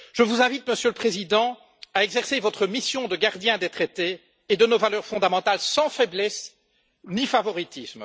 Je vous invite, Monsieur le Président, à exercer votre mission de gardien des traités et de nos valeurs fondamentales sans faiblesse ni favoritisme.